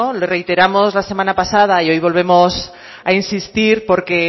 lo reiteramos la semana pasada y hoy volvemos a insistir porque